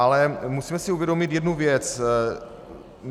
Ale musíme si uvědomit jednu věc.